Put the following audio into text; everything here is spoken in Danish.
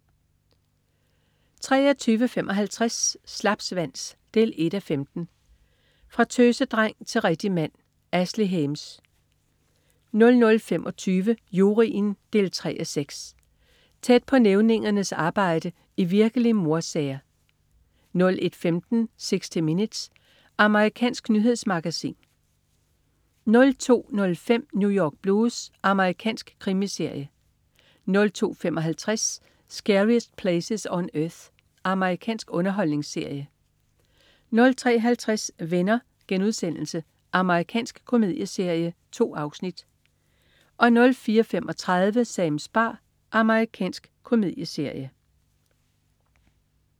23.55 Slapsvans 1:15. Fra tøsedreng til rigtig mand. Ashley Hames 00.25 Juryen 3:6. Tæt på nævningernes arbejde i virkelige mordsager 01.15 60 Minutes. Amerikansk nyhedsmagasin 02.05 New York Blues. Amerikansk krimiserie 02.55 Scariest Places on Earth. Amerikansk underholdningsserie 03.50 Venner.* Amerikansk komedieserie. 2 afsnit 04.35 Sams bar. Amerikansk komedieserie